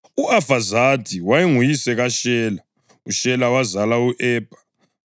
U-Afazadi wayenguyise kaShela, uShela wazala u-Ebha.